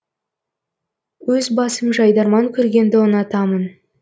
өз басым жайдарман көргенді ұнатамын